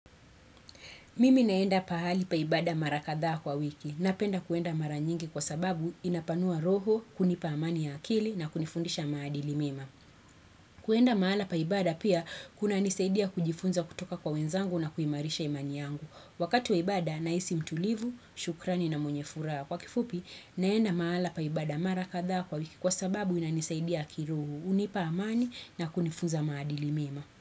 Mimi naenda paali paibada marakadhaa kwa wiki na penda kuenda mara nyingi kwa sababu inapanua roho kunipa amani ya akili na kunifundisha maadili mima. Kuenda maala paibada pia kuna nisaidia kujifunza kutoka kwa wenzangu na kuimarisha imani yangu. Wakatu waibada naisi mtulivu, shukrani na mwenye fura. Kwa kifupi naenda maala paibada mara kadhaa kwa wiki kwa sababu inanisaidia kirohu unipa amani na kunifunza maadili mima.